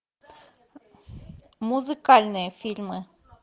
музыкальные фильмы